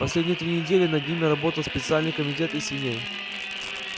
последние три недели над ними работал специальный комитет из свиней